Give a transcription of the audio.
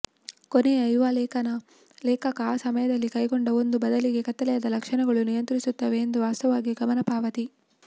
ಕೊನೆಯ ಯುವ ಲೇಖಕ ಆ ಸಮಯದಲ್ಲಿ ಕೈಗೊಂಡ ಒಂದು ಬದಲಿಗೆ ಕತ್ತಲೆಯಾದ ಲಕ್ಷಣಗಳು ನಿಯಂತ್ರಿಸುತ್ತವೆ ಎಂದು ವಾಸ್ತವವಾಗಿ ಗಮನ ಪಾವತಿ